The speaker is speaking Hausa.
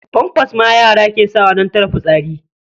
Famfas ma yara ke sawa don tare fitsari.